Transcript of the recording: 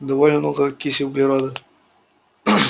довольно много окиси углерода